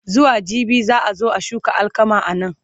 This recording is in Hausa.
zuwa jibi za'a zo a shuka alkama anan